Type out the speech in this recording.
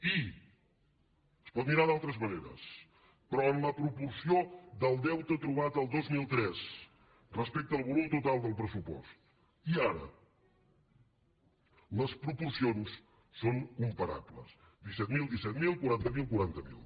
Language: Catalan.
i es pot mirar d’altres maneres però en la proporció del deute trobat el dos mil tres respecte al volum total del pressupost i ara les proporcions són comparables disset mil disset mil quaranta miler quaranta miler